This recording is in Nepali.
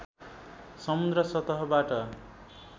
समुद्र सतहबाट